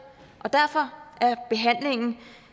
og derfor